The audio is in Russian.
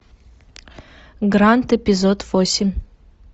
гранд эпизод восемь